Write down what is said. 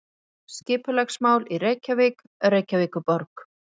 Mynd: Skipulagsmál í Reykjavík Reykjavíkurborg.